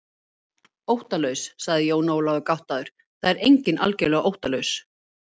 Óttalaus, sagði Jón Ólafur gáttaður, það er enginn algerlega óttalaus.